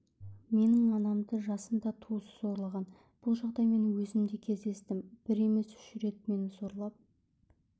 менің анамды жасында туысы зорлаған бұл жағдаймен өзім де кездестім бір емес үш рет мені зорлап